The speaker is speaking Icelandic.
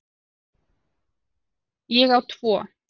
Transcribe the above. Ég á tvo.